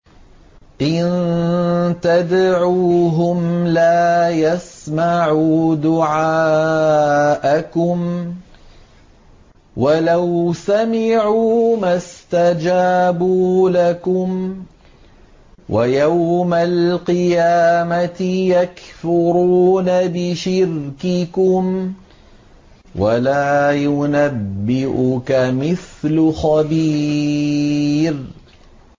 إِن تَدْعُوهُمْ لَا يَسْمَعُوا دُعَاءَكُمْ وَلَوْ سَمِعُوا مَا اسْتَجَابُوا لَكُمْ ۖ وَيَوْمَ الْقِيَامَةِ يَكْفُرُونَ بِشِرْكِكُمْ ۚ وَلَا يُنَبِّئُكَ مِثْلُ خَبِيرٍ